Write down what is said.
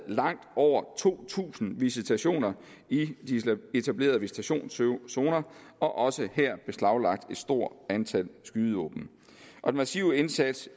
langt over to tusind visitationer i de etablerede visitationszoner og også her der beslaglagt et stort antal skydevåben den massive indsats